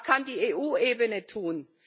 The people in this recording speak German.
Was kann die EU Ebene tun?